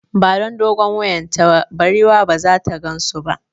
Ba don dogon wuyan ta ba, barewar ba zata gansu ba